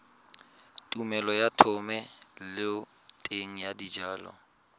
tumelelo ya thomeloteng ya dijalo